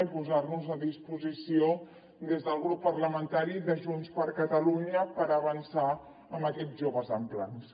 i posar nos a disposició des del grup parlamentari de junts per catalunya per avançar amb aquests joves amb plans